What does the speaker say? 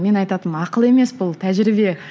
мен айтатынмын ақыл емес бұл тәжірибе